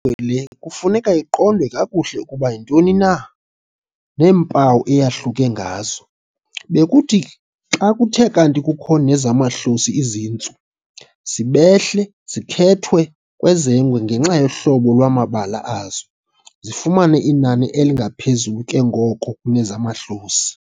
le bekufuneka iqondwe kakuhle ukuba iyintoni na, neempawu eyahluke ngazo. Bekuthi xa kuthe kanti kukho nezamahlosi izintsu, zibehle zikhethwe kwezengwe ngenxa yohlobo lwamabala azo, zifumane inani elingaphezulu ke ngoko kunezamahlosi.